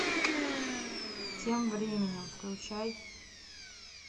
тем временем включай